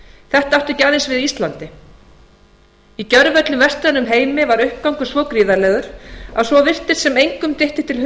þetta átti ekki aðeins við á íslandi í gjörvöllum vestrænum heimi var uppgangur svo gríðarlegur að svo virtist sem engum dytti til